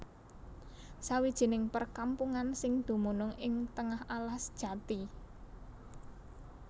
Sawijining perkampungan sing dumunung ing tengah alas jati